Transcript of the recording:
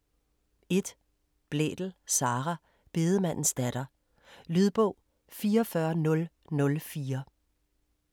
1. Blædel, Sara: Bedemandens datter Lydbog 44004